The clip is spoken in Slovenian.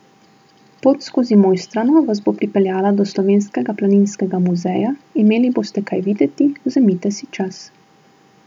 Pot skozi Mojstrano vas bo pripeljala do Slovenskega planinskega muzeja, imeli boste kaj videti, vzemite si čas.